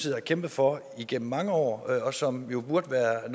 har kæmpet for igennem mange år og som burde være